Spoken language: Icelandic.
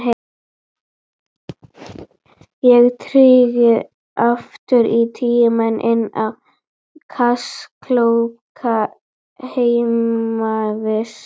Ég stíg aftur í tímann, inn á kaþólska heimavist.